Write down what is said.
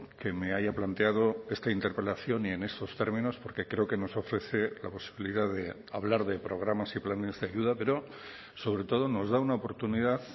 que me haya planteado esta interpelación y en estos términos porque creo que nos ofrece la posibilidad de hablar de programas y planes de ayuda pero sobre todo nos da una oportunidad